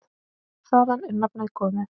Þaðan er nafnið komið.